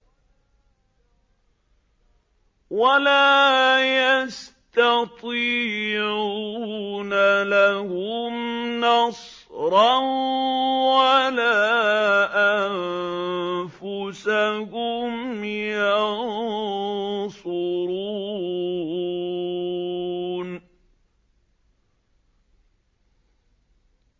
وَلَا يَسْتَطِيعُونَ لَهُمْ نَصْرًا وَلَا أَنفُسَهُمْ يَنصُرُونَ